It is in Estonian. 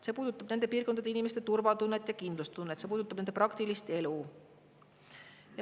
See puudutab nende piirkondade inimeste turvatunnet ja kindlustunnet, et see puudutab nende praktilist elu.